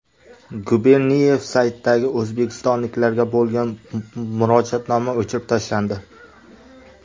Guberniyev saytidagi o‘zbekistonliklarga bo‘lgan murojaatnoma o‘chirib tashlandi.